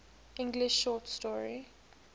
english short story